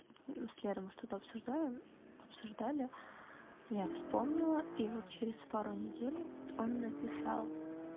с лерой мы что-то обсуждаем обсуждали я вспомнила и вот через пару недель он написал